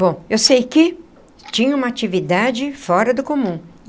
Bom, eu sei que tinha uma atividade fora do comum.